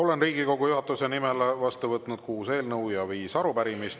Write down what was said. Olen Riigikogu juhatuse nimel vastu võtnud kuus eelnõu ja viis arupärimist.